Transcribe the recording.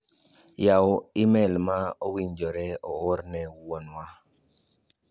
Yaw imel ma owinjore oor ne wuon wa.